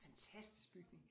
Fantastisk bygning